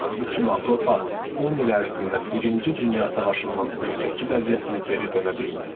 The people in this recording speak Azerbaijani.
Bütün Avropa 10 il ərzində birinci dünya müharibəsindən öncəki vəziyyətinə geri dönə bilməyəcək.